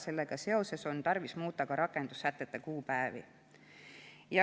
Seetõttu on tarvis muuta ka rakendussätete kuupäevi.